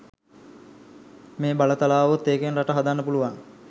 මේ බලතල ආවොත් ඒකෙන් රට හදන්න පුළුවන්.